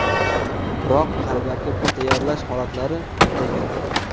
Biroq qalbaki pul tayyorlash holatlari ko‘paygan.